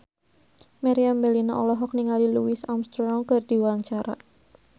Meriam Bellina olohok ningali Louis Armstrong keur diwawancara